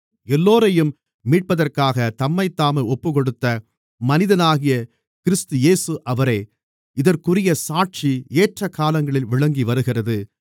எல்லோரையும் மீட்பதற்காகத் தம்மைத்தாமே ஒப்புக்கொடுத்த மனிதனாகிய கிறிஸ்து இயேசு அவரே இதற்குரிய சாட்சி ஏற்ற காலங்களில் விளங்கிவருகிறது